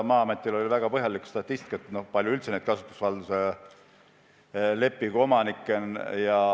Maa-ametil on väga põhjalik statistika, kui palju üldse kasutusvalduse lepinguid sõlmitud on.